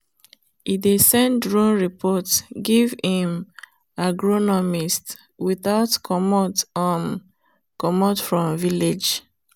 e dey send drone report give him agronomist without comot um from village.